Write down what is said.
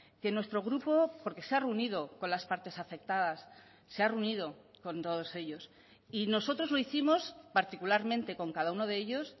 que nuestro grupo porque se ha reunido con las partes afectadas se ha reunido con todos ellos y nosotros lo hicimos particularmente con cada uno de ellos